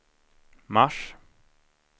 mars